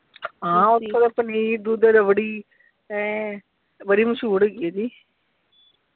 ਹਾਂ ਓਥੋਂ ਦਾ ਪਨੀਰ, ਦੁੱਧ ਰਬੜੀ ਹੈਂ ਬੜੀ ਮਸ਼ਹੂਰ ਹੈਗੀ ਆ ਜੀ।